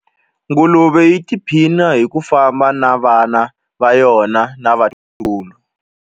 Nguluve yi tiphina hi ku famba na vana va yona na vatukulu.